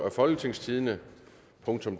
af folketingstidende